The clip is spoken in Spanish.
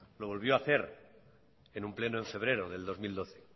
lo volvió a hacer en un pleno en febrero de dos mil doce